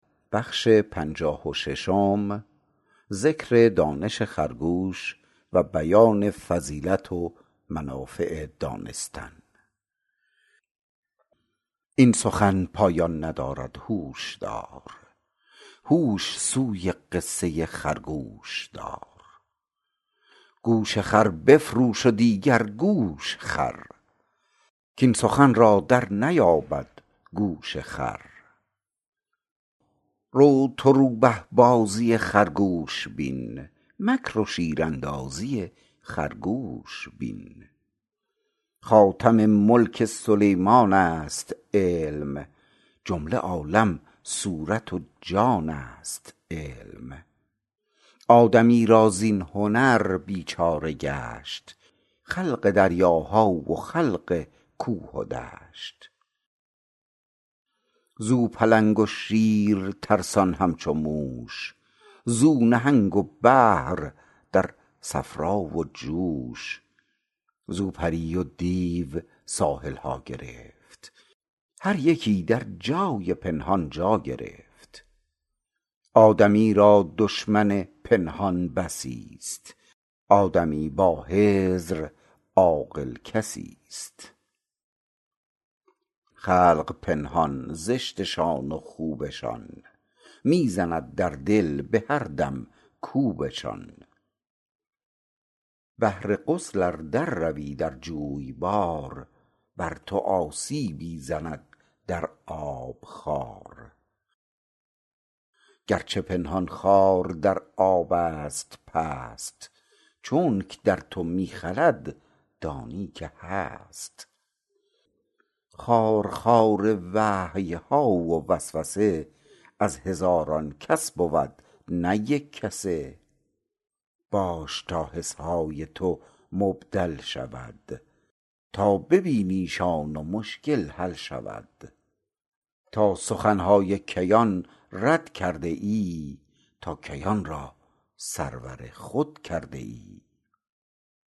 این سخن پایان ندارد هوش دار هوش سوی قصه خرگوش دار گوش خر بفروش و دیگر گوش خر کین سخن را در نیابد گوش خر رو تو روبه بازی خرگوش بین مکر و شیراندازی خرگوش بین خاتم ملک سلیمانست علم جمله عالم صورت و جانست علم آدمی را زین هنر بیچاره گشت خلق دریاها و خلق کوه و دشت زو پلنگ و شیر ترسان همچو موش زو نهنگ و بحر در صفرا و جوش زو پری و دیو ساحلها گرفت هر یکی در جای پنهان جا گرفت آدمی را دشمن پنهان بسی ست آدمی با حذر عاقل کسی ست خلق پنهان زشتشان و خوبشان می زند در دل به هر دم کوبشان بهر غسل ار در روی در جویبار بر تو آسیبی زند در آب خار گرچه پنهان خار در آبست پست چونک در تو می خلد دانی که هست خارخار وحیها و وسوسه از هزاران کس بود نه یک کسه باش تا حسهای تو مبدل شود تا ببینیشان و مشکل حل شود تا سخنهای کیان رد کرده ای تا کیان را سرور خود کرده ای